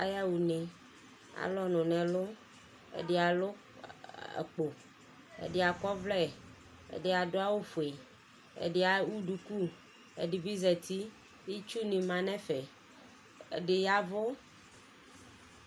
Ayaɣa une Alʋ ɔnʋ n'ɛlʋ, ɛdi alʋ akpo, ɛdi akɔ ɔvlɛ, ɛdi adʋ awʋ fue Ɛdi ewu duku, ɛdi bi zati Itsu ni ma nʋ ɛfɛ, ɛdi yavʋ